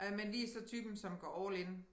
Øh men vi er så typen som går all in